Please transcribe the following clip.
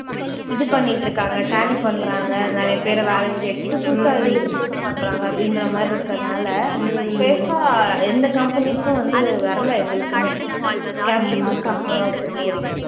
இது பண்ணிட்டு இருக்காங்க tally பண்றாங்க. நிறைய பேரை வேலையை விட்டு எடுத்துட்டு புதுசா நிறைய பேரை place பண்றாங்க அப்படின்ற மாதிரி இருக்கிறதுனால பெருசா எந்த companies உம் வந்து வரலை எங்களுக்குமே அந்த மாதிரி